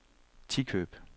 Tikøb